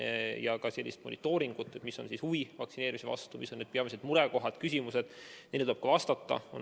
Teema ka monitooringut, milline on huvi vaktsineerimise vastu, millised on peamised murekohad ja küsimused, millele tuleb vastata.